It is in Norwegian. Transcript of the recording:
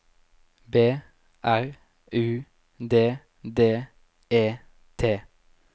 B R U D D E T